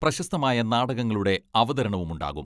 പ്രശസ്തമായ നാടകങ്ങളുടെ അവതരണവുമുണ്ടാകും.